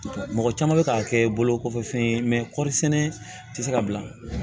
Mɔgɔ caman bɛ k'a kɛ bolokokɔfɛ fɛn ye kɔɔri sɛnɛ tɛ se ka bila